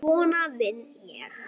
Svona vinn ég.